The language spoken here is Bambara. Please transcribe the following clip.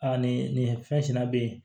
Aa nin nin fɛn bɛ yen